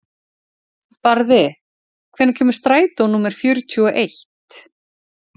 Barði, hvenær kemur strætó númer fjörutíu og eitt?